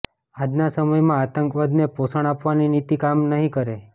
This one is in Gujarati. આજના સમયમાં આતંકવાદને પોષણ આપવાની નીતિ કામ નહીં કરે